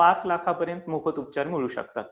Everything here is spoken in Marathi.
पाच लाखांपर्यंत मोफत उपचार मिळवू शकतात.